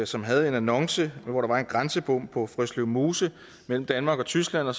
som havde en annonce hvor der var en grænsebom på frøslev mose mellem danmark og tyskland og